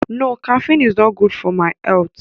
No, caffine is not good for my health